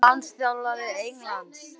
Næsti landsliðsþjálfari Englands?